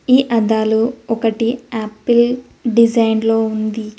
ఈ అద్దాలు ఒకటి ఆపిల్ డిజైన్ లో ఉంది.